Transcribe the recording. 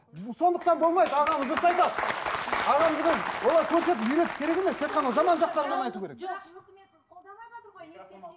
сондықтан болмайды ағамыз дұрыс айтады олар көрсетіп үйретіп керек емес тек қана жаман жақтарын ғана айту керек